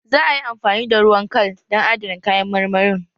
Za a yi amfani da ruwan kal dan adana kayan marmarin